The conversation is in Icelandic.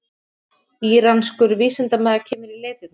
Íranskur vísindamaður kemur í leitirnar